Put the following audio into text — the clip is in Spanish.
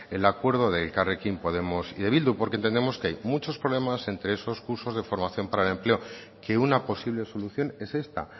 el acuerdo de elkarrekin podemos y de bildu porque entendemos que hay muchos problemas entre esos cursos de formación para el empleo que una posible solución es esta